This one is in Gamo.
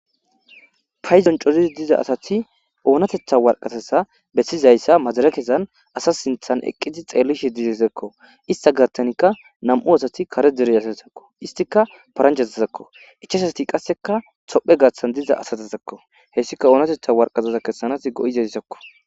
Payizon corizi diza asati oonatetha warqatasa bessizayssa majare kesan asa sinthan eqqiti xeellishe dizesekko ista gaattanikka nam'u asati kare dere asasakko istika paranchazazakko ichaasati qasseka tophe gaaththan diza asatetakko hessika oonatetha warqazasa kessanas go'izayssakko.